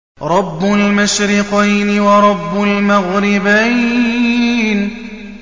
رَبُّ الْمَشْرِقَيْنِ وَرَبُّ الْمَغْرِبَيْنِ